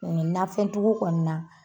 Nin nanfɛn tigiw kɔni na